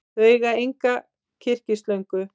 Þau eiga enga kyrkislöngu.